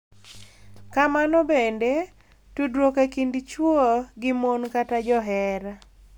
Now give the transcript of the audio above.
Kamano bende, tudruok e kind chwo gi mon kata johera .